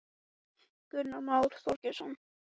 Við Níels sækjum þig eftir hálftíma.